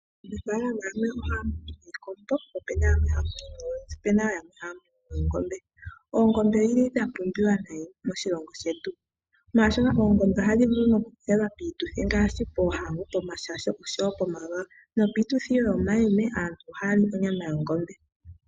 Aanafalama yamwe ohaamunu iikombo, po epena yamwe haamunu oonzi opena woo yamwe haamunu oongombe. Oongombe odha pumbiwa nayi moshilongo shetu, molwaashoka oongombe ohadhi vulu okudhi pagwa